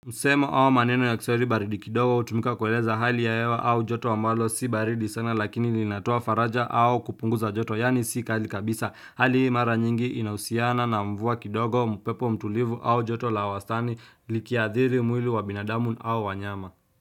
Msemo au maneno ya kiswahili baridi kidogo hutumika kueleza hali ya hewa au joto ambalo si baridi sana lakini linatoa faraja au kupunguza joto yani sika hali kabisa. Hali hii mara nyingi inahusiana na mvua kidogo upepo mtulivu au joto la wastani likiathiri mwili wa binadamu au wanyama.